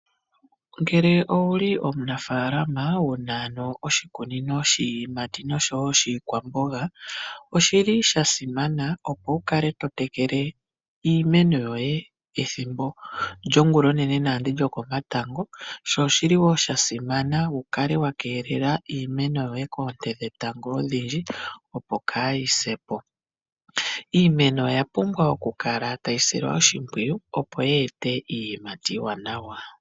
Ngele owuli omunafalama wuna ano oshikunino shiyimati noshowo shikwaamboga ,oshili sha simana opo wukale totekele imeno yoye ethimbo lyongula onene nando lokomatango shoshiliwo shasimana wukale wakelela iimeno yoye koonte dhetango odhiindji opo kayi se po. Iimeno oya pumbwa okukala tayi silwa oshimwiyu opo yi ete iiyimati iiwanawa.